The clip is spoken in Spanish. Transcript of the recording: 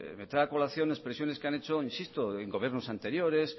me trae a colación expresiones que han hecho insisto en gobiernos anteriores